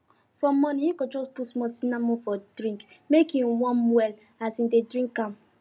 for morning e go just put small cinnamon for him drink make e warm well as e dey drink am